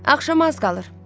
Axşama az qalır.